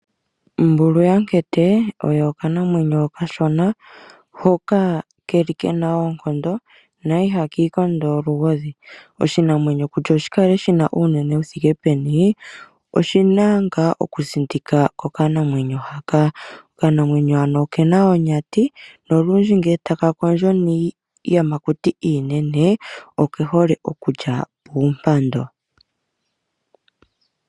Ombulu yaMukete, oyo okanamwenyo okashona, hoka ke li ke na oonkondo, na ihaka ikondo olugodhi. Oshinamwenyo kutya oshi kale shi na uunene wu thike peni, oshi na ngaa okusindika kokanamwenyo haka. Okanamwenyo hano oke na onyati, nolundji ngele taka kondjo niiyamakuti iinene, oke hole okulya puumpando.